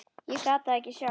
Ég gat það ekki sjálf.